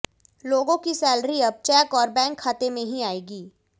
लोगों की सैलरी अब चेक और बैंक खाते में ही आएगी